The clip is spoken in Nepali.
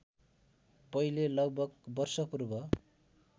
पहिले लगभग वर्षपूर्व